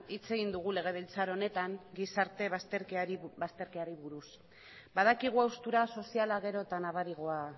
hitz egin dugu legebiltzar honetan gizarte bazterkeriari buruz badakigu haustura soziala gero eta nabariagoa